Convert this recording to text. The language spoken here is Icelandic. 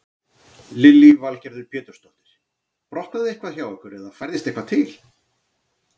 Lillý Valgerður Pétursdóttir: Brotnaði eitthvað hjá ykkur eða færðist eitthvað til?